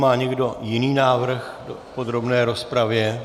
Má někdo jiný návrh v podrobné rozpravě?